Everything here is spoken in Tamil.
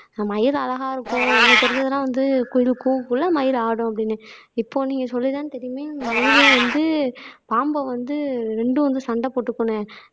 நான் மயில் அழகா இருக்கும் எனக்கு தெரிஞ்சதெல்லாம் வந்து குயில் கூவக்குள்ள மயில் ஆடும் அப்படின்னு இப்போ நீங்க சொல்லி தான் தெரியுமே மயிலும் வந்து பாம்பை வந்து ரெண்டும் வந்து சண்டை போட்டுக்கும்னே